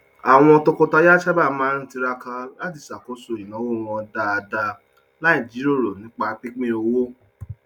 àwọn tọkọtaya sábà máa ń tiraka láti ṣàkóso ináwó wọn dáadáa láì jiròrò nípa pínpín owó